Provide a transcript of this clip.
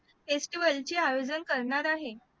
आयोजन करणार आहे